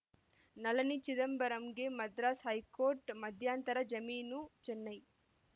ನಳಿನಿ ಚಿದಂಬರಂಗೆ ಮದ್ರಾಸ್‌ ಹೈಕೋರ್ಟ್‌ ಮಧ್ಯಂತರ ಜಮೀನು ಚೆನ್ನೈ